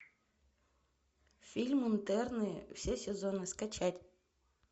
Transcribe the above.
фильм интерны все сезоны скачать